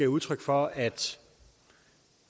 udtryk for at